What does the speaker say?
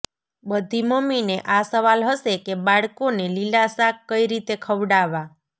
બધી મમ્મીને આ સવાલ હશે કે બાળકો ને લીલા શાક કઈ રીતે ખવડાવા